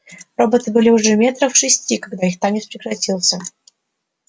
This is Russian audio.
роботы были уже метрах в шести когда их танец прекратился